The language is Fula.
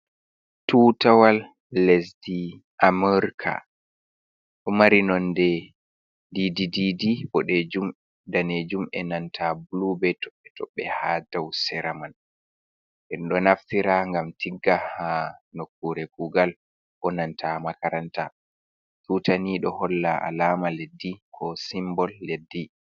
Tutawal lesdi amurka ɗo mari nonde dididi bodejum, danejum e nanta blube toɓɓe toɓbe ha dau sera man en do naffira gam tigga ha nokkure kugal bo nanta makaranta tutani ɗoo holla alama leddi ko simbol leddi.